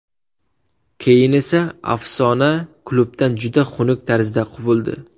Keyin esa afsona klubdan juda xunuk tarzda quvildi.